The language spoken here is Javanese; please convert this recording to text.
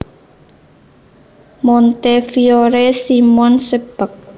Montefiore Simon Sebag